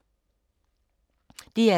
DR2